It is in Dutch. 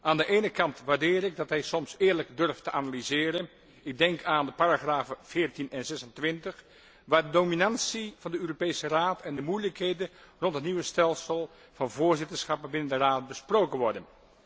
Aan de ene kant waardeer ik dat hij soms eerlijk durft te analyseren ik denk aan de paragrafen 14 en 26 waarin de dominantie van de Europese Raad en de moeilijkheden rond het nieuwe stelsel van voorzitterschappen binnen de Raad besproken worden.